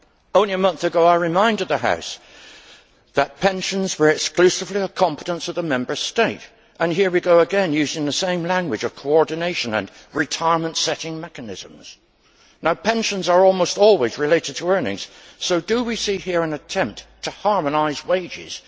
Only a month ago, I reminded the House that pensions were exclusively the competence of the Member States and here we go again using the same language of coordination and retirement setting mechanisms. Now pensions are almost always related to earnings, so do we see here an attempt to harmonise wages?